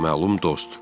Naməlum dost.